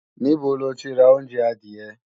Níbo lo ti ra oúnjẹ adìẹ?